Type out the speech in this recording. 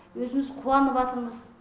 өзіміз қуаныватырмыз